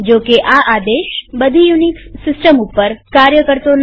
જોકે આ આદેશ બધી યુનિક્સ સિસ્ટમ ઉપર કાર્ય કરતો નથી